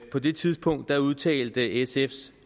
på det tidspunkt udtalte sfs